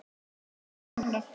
Eða er það einhver annar?